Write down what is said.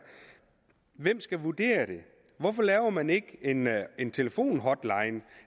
hvem skal vurdere det hvorfor laver man ikke en en telefonhotline